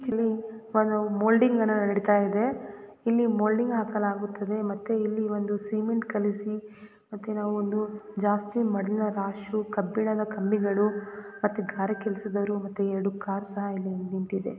ಇಲ್ಲಿ ಒಂದು ಮೌಲ್ಡಿಂಗ್ ಅನ್ನ ನಡೀತಾ ಇದೆ ಇಲ್ಲಿ ಮೌಲ್ಡಿಂಗನ್ನ ಹಾಕಲಾಗುತ್ತದೆ ಮತ್ತೆ ಇಲ್ಲಿ ಒಂದು ಸಿಮೆಂಟ್ ಕಲಸಿ ಮತ್ತೆ ನಾವು ಒಂದು ಜಾಸ್ತಿ ಮಣ್ಣಿನ ರಾಶಿ ಕಬ್ಬಿಣದ ಕಂಬಿಗಳು ಮತ್ತೆ ಗಾರೆ ಕೆಲಸದವರು ಮತ್ತೆ ಎರಡು ಕಾರು ಸಹ ನಿಂತಿವೆ.